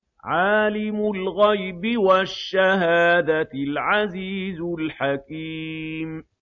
عَالِمُ الْغَيْبِ وَالشَّهَادَةِ الْعَزِيزُ الْحَكِيمُ